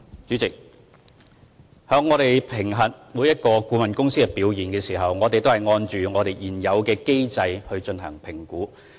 主席，在評核每間顧問公司的表現時，我們按照現有機制進行評估。